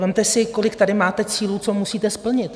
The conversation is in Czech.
Vezměte si, kolik tady máte cílů, co musíte splnit.